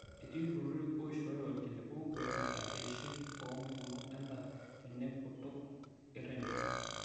Etii iltururi oishooyo ilkiliku oipirta eishoi oo mpukunot endaa tenekutuk e rendio